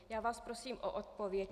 Já vás prosím o odpověď.